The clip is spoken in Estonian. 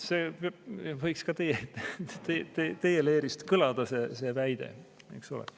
See väide võiks ka teie leerist kõlada, eks ole.